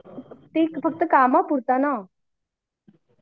ते फक्त कामापुरता ना